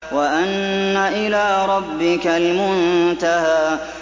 وَأَنَّ إِلَىٰ رَبِّكَ الْمُنتَهَىٰ